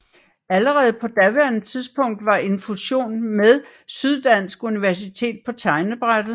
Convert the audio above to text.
Allerede på daværende tidspunkt var en fusion med Syddansk Universitet på tegnebrættet